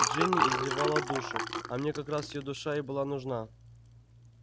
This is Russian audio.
джинни изливала душу а мне как раз её душа и была нужна